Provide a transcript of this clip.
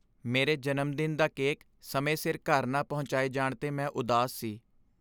ਮੇਰੇ ਜਨਮਦਿਨ ਦਾ ਕੇਕ ਸਮੇਂ ਸਿਰ ਘਰ ਨਾ ਪਹੁੰਚਾਏ ਜਾਣ 'ਤੇ ਮੈਂ ਉਦਾਸ ਸੀ।